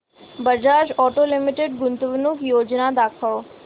Bajaj auto limited गुंतवणूक योजना दाखव